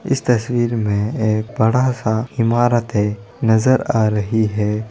इस तस्वीर में एक बड़ा-सा इमारते नजर आ रही है।